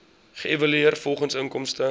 geëvalueer volgens inkomste